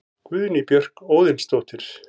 Guðný Björk Óðinsdóttir